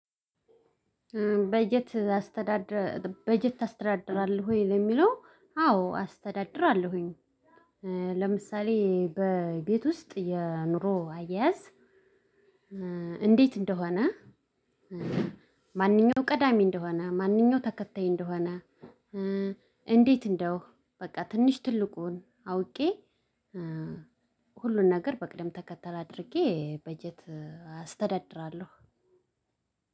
በጀት አስተዳድር በጀት ታስተዳድራለህ ወይ ለሚለው አዎ አስተዳድራለሁኝ። ለምሳሌ በቤት ውስጥ የኑሮ አያያዝ። እንዴት እንደሆነ። ማንኛው ቀዳሚ እንደሆነ ማንኛው ተከታይ እንደሆነ። እንዴት እንደው በቃ ትንሽ ትልቁን አውቄ። ሁሉን ነገር በቅደም ተከተል አድርጌ በጀት አስተዳድራለሁ።